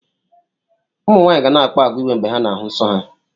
ụmụ nwaanyị ga na-akpa àgwà iwe mgbe ha na-ahụ nsọ ha